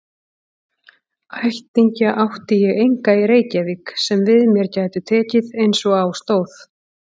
Ættingja átti ég enga í Reykjavík sem við mér gætu tekið einsog á stóð.